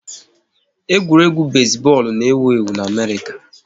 Egwuregwu besi bọọlụ n'ewu ewu n'Amerịka